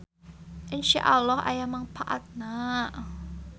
InsyaAlloh aya mangpaatna.